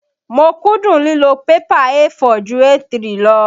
Mo kúndùn lílo pẹ́pà A4 ju A3 lọ.